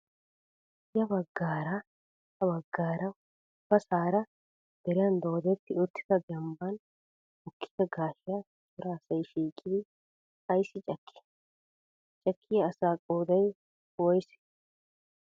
Ya baggaara ha baggaara ubbasara deriyan doodetti uttida dembban mokkida gaashiya cora asay shiiqidi ayissi cakkii? Cakkiyaa asaa qoodayi woyisee